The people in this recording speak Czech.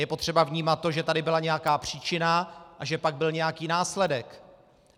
Je potřeba vnímat to, že tady byla nějaká příčina a že pak byl nějaký následek.